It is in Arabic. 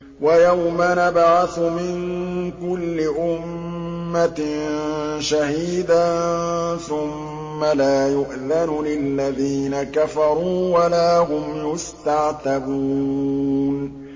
وَيَوْمَ نَبْعَثُ مِن كُلِّ أُمَّةٍ شَهِيدًا ثُمَّ لَا يُؤْذَنُ لِلَّذِينَ كَفَرُوا وَلَا هُمْ يُسْتَعْتَبُونَ